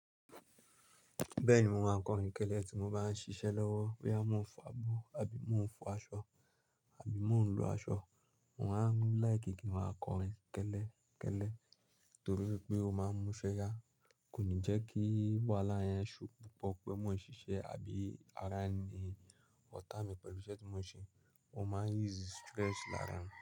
Bẹ́ẹ̀ni, mo máa ń kọrin kẹ́lẹ́ tí mo bá ń ṣiṣẹ́ lọ́wọ́, bí mo ń fọ abọ́ àbí mo ń fọ aṣọ àbí mo ń lọ aṣọ, mo máa ń láìkí kin ma kọrin kẹ́lẹ́ kẹ́lẹ́ nítorí pé ó máa ń múṣẹ́ yá. Kò ní jẹ́ kí wàhálà yẹn ṣhow púpọ̀ pé mo ń ṣiṣẹ́ àbí ara ni ọ̀tá mi pẹ̀lú iṣẹ́ tí mo ń ṣe. Ó máa ń ease stress lára mi.